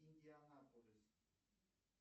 индианаполис